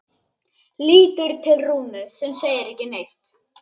Lítur til Rúnu sem segir ekki neitt.